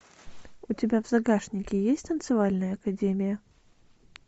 у тебя в загашнике есть танцевальная академия